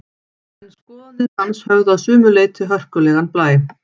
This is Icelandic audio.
En skoðanir hans höfðu að sumu leyti hörkulegan blæ.